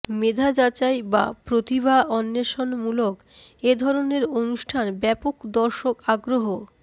মেধা যাচাই বা প্রতিভা অন্বেষণমুলক এ ধরনের অনুষ্ঠান ব্যাপক দর্শক আগ্রহ